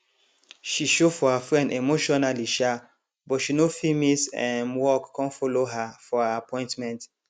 she show for her friend emotionally um but she no fit miss um work con follow her for her appointment